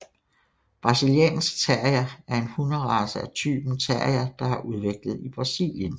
Brasiliansk Terrier er en hunderace af typen terrier der er udviklet i Brasilien